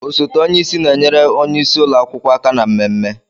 Osote onye isi na-enyere onye isi ụlọ akwụkwọ aka na mmemme.